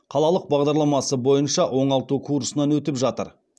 қалалық бағдарламасы бойынша оңалту курсынан өтіп жатыр